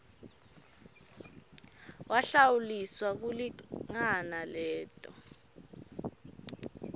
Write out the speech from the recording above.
wahlawuliswa lokulingana leto